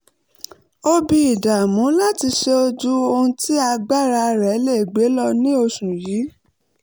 ó bí ìdàmú láti ṣe ju ohun tí agbára rẹ̀ lè gbé lọ ní oṣù yìí